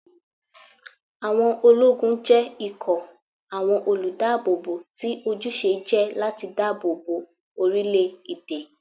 Àwọn ológun jẹ́ ikọ̀ àwọn olùdáàbòbò tí ojúṣe jẹ́ láti dáàbò bo orílé-èdè